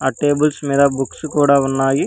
ఆ టేబుల్స్ మీద బుక్స్ కూడా ఉన్నాయి.